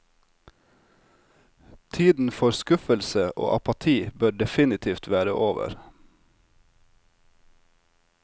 Tiden for skuffelse og apati bør definitivt være over.